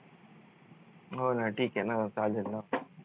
हो न ठीक आहे न चालेल न